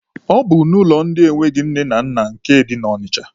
Ọ bụ n'ụlọ ndị enweghị nne na nna nke dị na Ọnịcha.